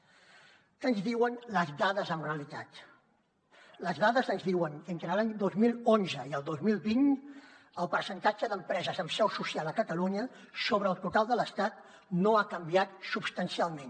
què ens diuen les dades en realitat les dades ens diuen entre l’any dos mil onze i el dos mil vint el percentatge d’empreses amb seu social a catalunya sobre el total de l’estat no ha canviat substancialment